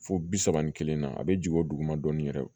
Fo bi saba ni kelen na a bɛ jigin o duguma dɔɔnin yɛrɛ